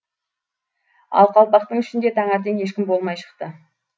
ал қалпақтың ішінде таңертең ешкім болмай шықты